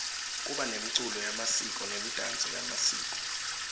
kuba nemculo yemasiko nemidanso yemasiko